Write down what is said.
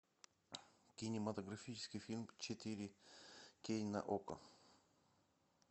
кинематографический фильм четыре кей на окко